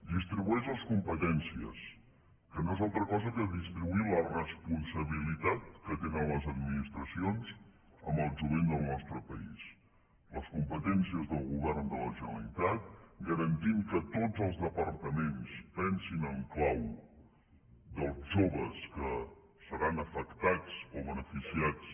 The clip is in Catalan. distribueix les competències que no és altra cosa que distribuir la responsabilitat que tenen les administracions amb el jovent del nostre país les competències del govern de la generalitat garantint que tots els departaments pensin en clau dels joves que seran afectats o beneficiats